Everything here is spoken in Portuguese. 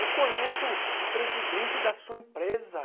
Eu conheço o presidente da sua empresa.